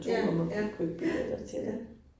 Ja, ja, ja, ja